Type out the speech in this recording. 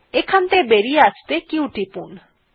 এখান থেকে বেরিয়ে আসতেহলে q টিপতে হবে